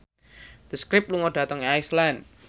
The Script lunga dhateng Iceland